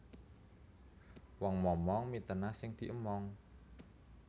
Wong momong mitenah sing diemong